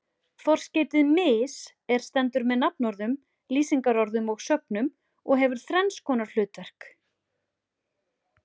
Forskeytið mis- er stendur með nafnorðum, lýsingarorðum og sögnum og hefur þrenns konar hlutverk.